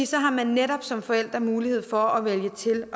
så har man netop som forælder mulighed for at vælge til